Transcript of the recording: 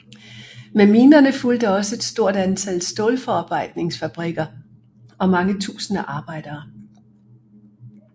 Med minerne fulgte også et stort antal stålforarbejdningsfabrikker og mange tusinde arbejdere